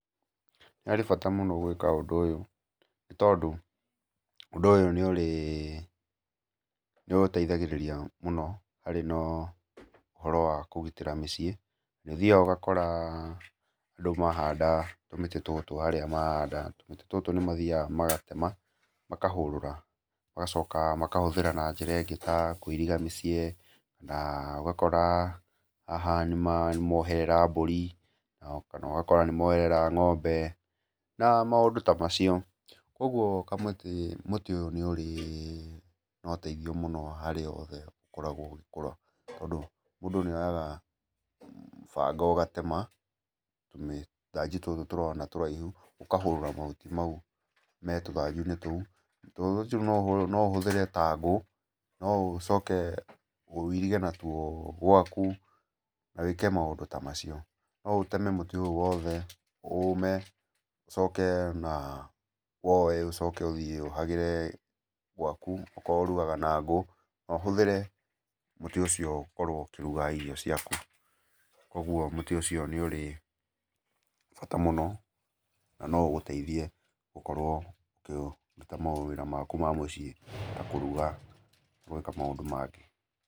Nĩ harĩ bata mũno gwĩka ũndũ ũyũ, nĩ tondũ ũndũ nĩ ũrĩ, nĩ ũgũteithagĩrĩria mũno harĩ ũhoro wa kũgitĩra mũciĩ nĩ ũthiaga ũgakora andũ mahanda tũmĩtĩ tũtũ harĩa mahanda, tũmĩtĩ tũtũ nĩmathiaga magatũtema, makahũrũra magacoka makahũthĩra ta njĩra ya kũiriga mĩciĩ na ũgakora haha nĩmaherera mbũri kana ũgakora nĩ moherera ng'ombe na maũndũ ta macio. Ũguo kamũtĩ, mũtĩ nĩ ũrĩ na ũteithio mũno harĩ handũ hothe ũgĩkũra tondũ mũndũ nĩ oyaga banga ũgatema tũmĩthanju tũtũ ũrona tũraihu ũkahũrũra mahuti mau metũthanjuinĩ tũu. Tuthanju tũu no ũhũthĩre ta ngũ, no ũcoke wĩirige natwo gwaku na wĩke maũndũ ta macio. No ũteme mũtĩ ũyũ wothe ũme, ũcoke ũwoe ũtware gwaku akorwo ũragaga na ngũ na ũhũthĩre mũtĩ ũcio gũkĩruga irio ciaku. Koguo mũtĩ nĩ ũrĩ bata mũno na no ũgũteithiĩ gũkorwo ũkĩruta mawĩra maku ma mũciĩ ta kũruga na gwĩka maũndũ mangĩ.